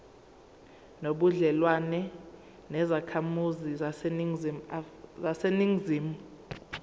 nobudlelwane nezakhamizi zaseningizimu